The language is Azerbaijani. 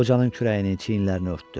Qocanın kürəyini, çiynlərini örtdü.